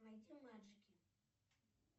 найди маджики